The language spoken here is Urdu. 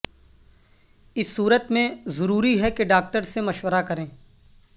اس صورت میں ضروری ہے کہ ڈاکٹر سے مشورہ کریں